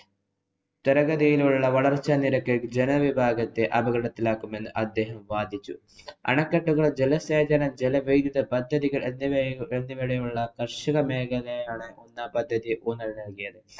ത്വരഗതിയിലുള്ള വളര്‍ച്ചാനിരക്ക് ജനവിഭാഗത്തെ അപകടത്തിലാക്കുമെന്ന് അദ്ദേഹം വാദിച്ചു. അണക്കെട്ടുകള്‍, ജലസേചന ജല വൈദ്യുത പദ്ധതികള്‍ എന്നിവയുടെ എന്നിവയുള്ള കര്‍ഷക മേഖലയെയാണ് ഒന്നാം പദ്ധതി ഊന്നല്‍ നല്‍കിയത്.